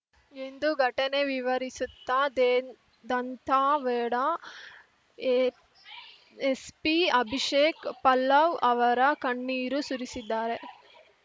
ಎಂದು ಘಟನೆ ವಿವರಿಸುತ್ತಾ ದೇನ್ ದಂತಾವೇಡಾ ಏ ಎಸ್ಪಿ ಅಭಿಷೇಕ್‌ ಪಲ್ಲವ್‌ ಅವರ ಕಣ್ಣೀರು ಸುರಿಸಿದ್ದಾರೆ